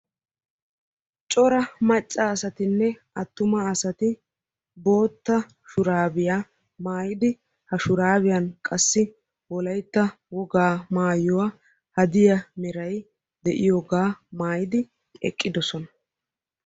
Coraa maca asatinne atuma asatti wolaytta wogaa maayuwanne bootta maayuwa maayiddi eqqidosonna.